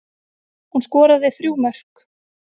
Hún skoraði þrjú mörk